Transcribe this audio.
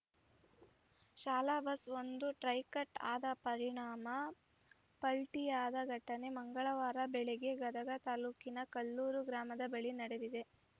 ಶಾಲಾ ಬಸ್‌ ಒಂದು tyre cut ಆದ ಪರಿಣಾಮ ಪಲ್ಟಿಯಾದ ಘಟನೆ ಮಂಗಳವಾರ ಬೆಳಗ್ಗೆ ಗದಗ ತಾಲೂಕಿನ ಕಲ್ಲೂರ ಗ್ರಾಮದ ಬಳಿ ನಡೆದಿದೆ